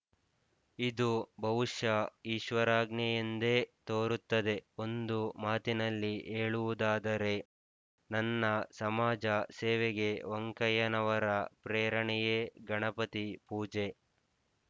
ಇದು ಬಹುಶಃ ಈಶ್ವರಾಜ್ಞೆಯೆಂದೇ ತೋರುತ್ತದೆ ಒಂದು ಮಾತಿನಲ್ಲಿ ಹೇಳುವುದಾದರೆ ನನ್ನ ಸಮಾಜ ಸೇವೆಗೆ ವೆಂಕಯ್ಯನವರ ಪ್ರೇರಣೆಯೇ ಗಣಪತಿ ಪೂಜೆ